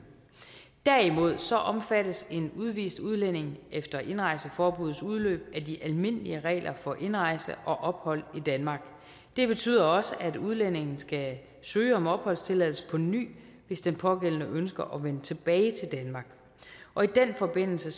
derimod så omfattes en udvist udlænding efter indrejseforbuddets udløb af de almindelige regler for indrejse og ophold i danmark det betyder også at udlændingen skal søge om opholdstilladelse på ny hvis den pågældende ønsker at vende tilbage til danmark og i den forbindelse